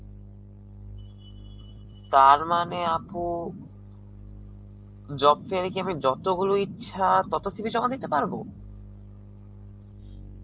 তারমানে আপু, job fair এ কি আমি যতো গুলো ইচ্ছা ততো CV জমা দিতে পারবো?